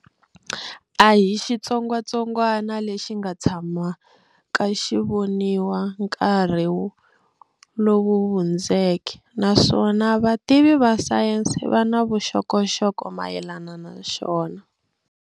A hi xitsongwatsongwana lexi nga si tshamaka xi voniwa nkarhi lowu hundzeke naswona vativi va sayense va na vuxokoxoko mayelana na xona.